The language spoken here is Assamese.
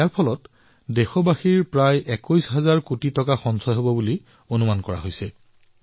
ইয়াৰ দ্বাৰা দেশবাসীৰ প্ৰায় ২১ হাজাৰ কোটি টকা ৰাহি হোৱাৰ অনুমান কৰা হৈছে